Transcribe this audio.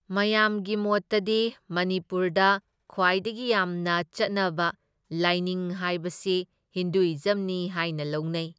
ꯃꯌꯥꯝꯒꯤ ꯃꯣꯠꯇꯗꯤ ꯃꯅꯤꯄꯨꯔꯗ ꯈ꯭ꯋꯥꯏꯗꯒꯤ ꯌꯥꯝꯅ ꯆꯠꯅꯕ ꯂꯥꯏꯅꯤꯡ ꯍꯥꯏꯕꯁꯤ ꯍꯤꯟꯗꯨꯢꯖꯝꯅꯤ ꯍꯥꯏꯅ ꯂꯧꯅꯩ꯫